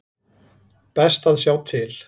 Best að sjá til.